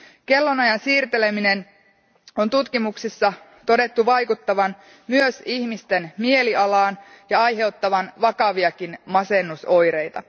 Kellonajan siirtelemisen on tutkimuksissa todettu vaikuttavan myös ihmisten mielialaan ja aiheuttavan vakaviakin masennusoireita.